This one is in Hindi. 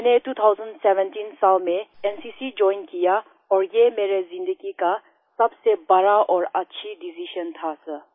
मैंने 2017 साल में एनसीसी जोइन किया और ये मेरे ज़िन्दगी का सबसे बड़ा और अच्छी डिसाइजन था सर